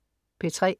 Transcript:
P3: